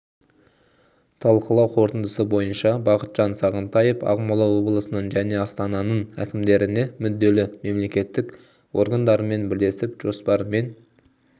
талқылау қорытындысы бойынша бақытжан сағынтаев ақмола облысының және астананың әкімдеріне мүдделі мемлекеттік органдармен бірлесіп жоспар мен